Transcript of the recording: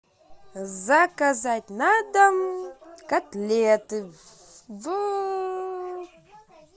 заказать на дом котлеты в